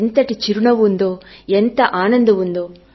ఎంతటి చిరునవ్వు ఉందో ఎంత ఆనందం ఉందో